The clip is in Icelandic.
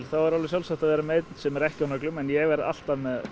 er alveg sjálfsagt að hafa einn sem er ekki á nöglum en ég hef alltaf